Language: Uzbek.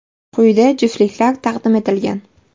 Quyida juftliklar taqdim etilgan.